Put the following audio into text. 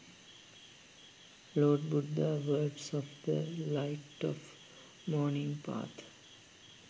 lord buddha words of the light of morning path